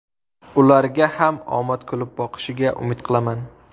Ularga ham omad kulib boqishiga umid qilaman”.